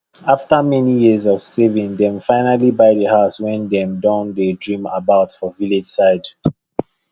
after many years of saving dem finally buy the house wey dem don dey dream about for village side